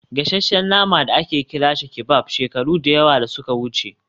gasasshen nama da ake kira shish kebab shekaru da yawa da suka wuce